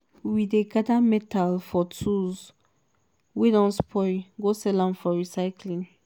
we dey gather metal from tools wey don spoil go sell am for recycling.